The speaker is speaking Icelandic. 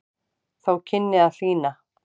Þó kynni að hlýna.